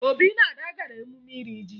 Obi na Ada gara emume iri ji